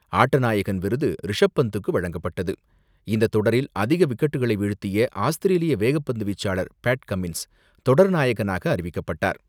ஆட்டநாயகன் விருது ரிஷப் பந்துக்கு வழங்கப்பட்டது. இந்த தொடரில் அதிக விக்கெட்டுகளை வீழ்த்திய ஆஸ்திரேலிய வேகப்பந்து வீச்சாளர் பேட் கம்மின்ஸ் தொடர் நாயகனாக அறிவிக்கப்பட்டார்.